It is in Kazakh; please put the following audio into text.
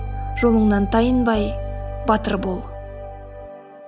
жолыңнан тайынбай батыр бол